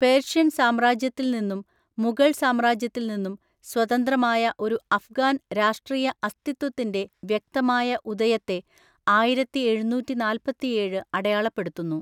പേർഷ്യൻസാമ്രാജ്യത്തിൽനിന്നും, മുഗൾസാമ്രാജ്യത്തിൽനിന്നും സ്വതന്ത്രമായ ഒരു അഫ്ഗാൻ രാഷ്ട്രീയ അസ്തിത്വത്തിൻ്റെ വ്യക്തമായ ഉദയത്തെ ആയിരത്തിഎഴുന്നൂറ്റിനാല്പത്തിഏഴ് അടയാളപ്പെടുത്തുന്നു.